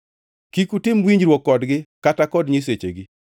Kik utim winjruok kodgi kata kod nyisechegi.